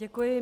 Děkuji.